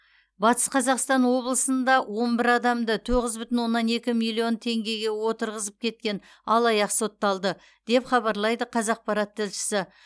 батыс қазақстан облысында он бір адамды тоғыз бүтін оннан екі миллион теңгеге отырғызып кеткен алаяқ сотталды деп хабарлайды қазақпарат тілшісі